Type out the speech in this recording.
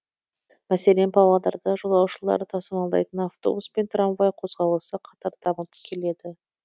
мәселен павлодарда жолаушылар тасымалдайтын автобус пен трамвай қозғалысы қатар дамып келеді